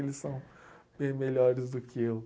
Eles são bem melhores do que eu.